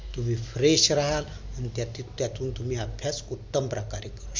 तुम्ही fresh रहाल आणि त्यातून तुम्ही अभ्यास उत्तम प्रकारे